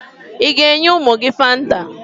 Ị ga-enye ụmụ gị Fanta?